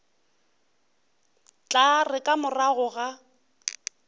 tla re ka morago ga